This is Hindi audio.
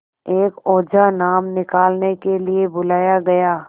एक ओझा नाम निकालने के लिए बुलाया गया